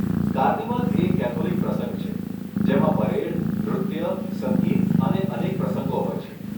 Carnival એ Catholic પ્રસંગ છે, જેમાં પરેડ, નૃત્ય, સંગીત અને અનેક પ્રસંગો હોય છે.